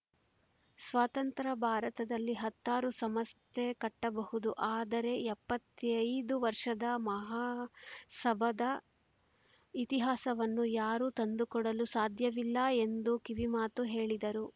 ಸ್ವತಂತ್ರ ಭಾರತದಲ್ಲಿ ಹತ್ತಾರು ಸಂಸ್ಥೆ ಕಟ್ಟಬಹುದು ಆದರೆ ಎಪ್ಪತ್ತೈದು ವರ್ಷದ ಮಹಾಸಭದ ಇತಿಹಾಸವನ್ನು ಯಾರೂ ತಂದುಕೊಡಲು ಸಾಧ್ಯವಿಲ್ಲ ಎಂದು ಕಿವಿಮಾತು ಹೇಳಿದರು